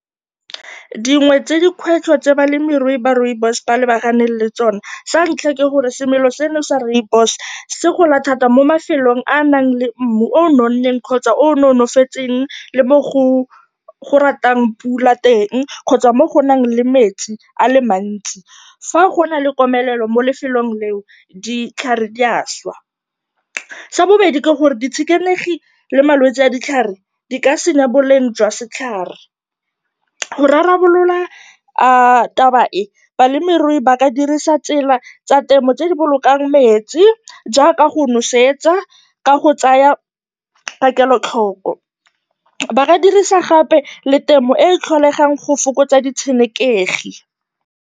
Dingwe tsa dikgwetlho tse balemirui ba rooibos ba lebaganeng le tsone, sa ntlha ke gore semela seno sa rooibos se gola thata mo mafelong a a nang le mmu o o nonneng kgotsa o o nonofetseng le mo go ratang pula teng kgotsa mo go nang le metsi a le mantsi. Fa go na le komelelo mo lefelong leo, ditlhare di a šwa. Sa bobedi ke gore ditshenekegi le malwetsi a ditlhare di ka senya boleng jwa setlhare. Go rarabolola taba e, balemirui ba ka dirisa tsela tsa temo tse di bolokang metsi jaaka go nosetsa ka go tsaya ka kelotlhoko, ba ka dirisa gape le temo e e tlholegang go fokotsa ditshenekegi.